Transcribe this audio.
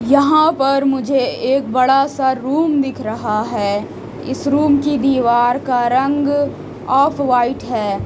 यहाँ पर मुझे एक बड़ा सा रूम दिख रहा है इस रूम की दीवार का रंग ऑफव्हाइट है।